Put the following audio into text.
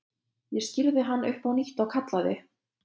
Ég skírði hann upp á nýtt og kallaði